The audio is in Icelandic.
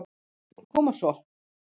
Koma svo.